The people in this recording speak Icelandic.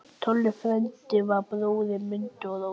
Þangað kom svo amma að stríðinu loknu.